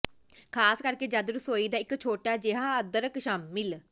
ਖ਼ਾਸ ਕਰਕੇ ਜਦ ਰਸੋਈ ਦਾ ਇੱਕ ਛੋਟਾ ਜਿਹਾ ਅਦਰਕ ਸ਼ਾਮਿਲ